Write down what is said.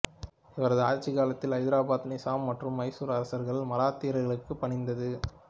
இவரது ஆட்சிக்காலத்தில் ஐதராபாத் நிசாம் மற்றும் மைசூர் அரசுகள் மராத்தியர்களுக்கு பணிந்தது